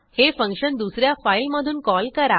हे फंक्शन दुस या फाईलमधून कॉल करा